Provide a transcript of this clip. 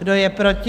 Kdo je proti?